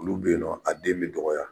Olu bɛ yen nɔ ,a den bɛ dɔgɔya.